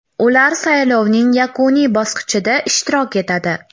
Ular saylovning yakuniy bosqichida ishtirok etadi.